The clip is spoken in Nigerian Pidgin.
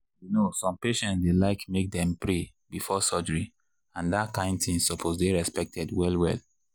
you know some patients dey like make dem pray before surgery and that kain thing suppose dey respected well well.